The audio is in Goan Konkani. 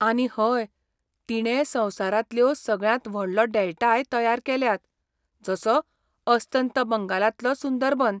आनी हय, तिणें संवसारांतल्यो सगळ्यांत व्हडलो डेल्टाय तयार केल्यात, जसो अस्तंत बंगालांतलो सुंदरबन.